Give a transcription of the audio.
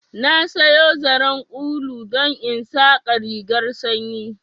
Na sayo zaren ulu don in saƙa rigarr sanyi